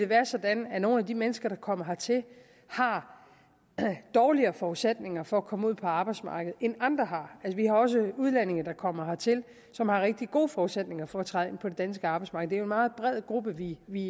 være sådan at nogle af de mennesker der kommer hertil har dårligere forudsætninger for at komme ud på arbejdsmarkedet end andre vi har også udlændinge der kommer hertil som har rigtig gode forudsætninger for træde ind på det danske arbejdsmarked det er meget bred gruppe vi vi